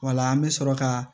Wala an bɛ sɔrɔ ka